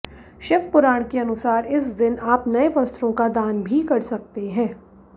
शिव पुराण के अनुसार इस दिन आप नए वस्त्रों का दान भी कर सकते हैं